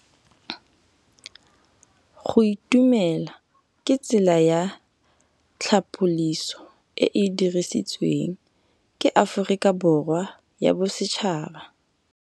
Go itumela ke tsela ya tlhapolisô e e dirisitsweng ke Aforika Borwa ya Bosetšhaba.